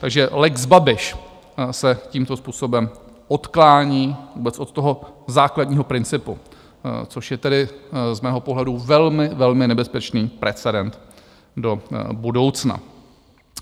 Takže lex Babiš se tímto způsobem odklání vůbec od toho základního principu, což je tedy z mého pohledu velmi, velmi nebezpečný precedent do budoucna.